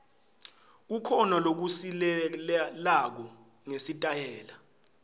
kukhona lokusilelako ngesitayela